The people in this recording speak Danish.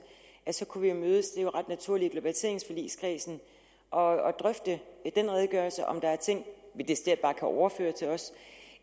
så kunne vi mødes er jo ret naturligt i globaliseringsforligskredsen og drøfte den redegørelse om der er ting vi decideret overføre til os